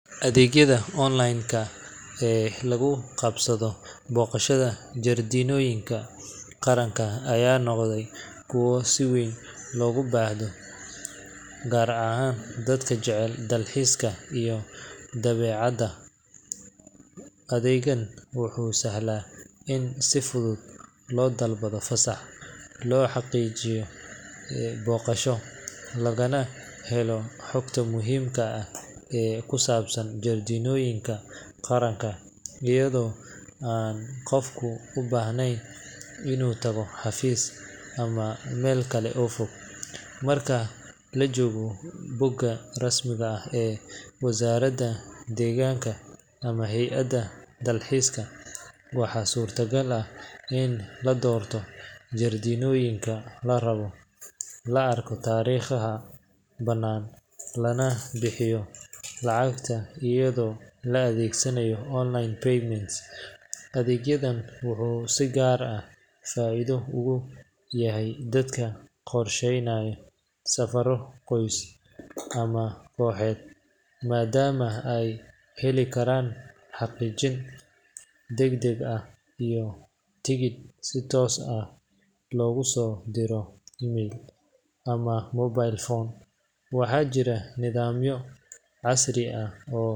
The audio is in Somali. Adeegyada online ee lagu qabsado booqashada jardiinooyinka qaran ayaa noqday kuwo si weyn loogu baahdo, gaar ahaan dadka jecel dalxiiska iyo dabeecadda. Adeegan wuxuu sahlaa in si fudud loo dalbado fasax, loo xaqiijiyo booqasho, lagana helo xogta muhiimka ah ee ku saabsan jardiinooyinka qaranka iyadoo aan qofku u baahnayn inuu tago xafiis ama meel kale oo fog. Marka la galo bogga rasmiga ah ee wasaaradda deegaanka ama hay’adda dalxiiska, waxaa suuragal ah in la doorto jardiinooyinka la rabo, la arko taariikhaha bannaan, lana bixiyo lacagta iyadoo la adeegsanayo online payment. Adeeggan wuxuu si gaar ah faa’iido ugu yahay dadka qorsheynaya safarro qoys ama kooxeed, maadaama ay heli karaan xaqiijin degdeg ah iyo tikidh si toos ah loogu soo diro email ama mobile phone. Waxaa jira nidaamyo casri ah oo.